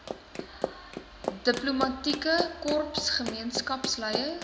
diplomatieke korps gemeenskapsleiers